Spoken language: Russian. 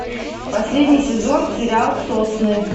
последний сезон сериал сосны